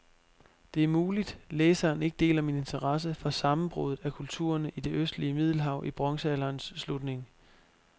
Det er muligt, læseren ikke deler min interesse for sammenbruddet af kulturerne i det østlige middelhav i bronzealderens slutning.